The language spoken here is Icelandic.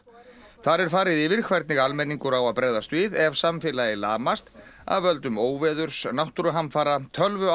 þar er farið yfir hvernig almenningur á að bregðast við ef samfélagið lamast af völdum óveðurs náttúruhamfara